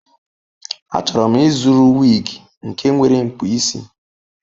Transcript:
Achọrọ m ịzụrụ wig nke nwere mkpụ isi.